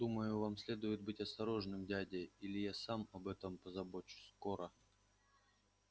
думаю вам следует быть осторожным дядя или я сам об этом позабочусь скоро